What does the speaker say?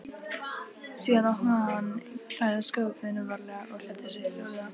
Síðan opnaði hann klæðaskápinn varlega og klæddi sig hljóðlega.